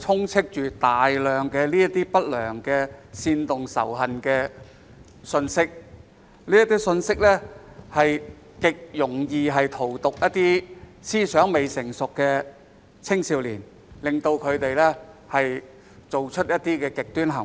充斥大量不良及煽動仇恨的信息，而這些信息極容易荼毒思想未成熟的青少年，令他們做出極端行為。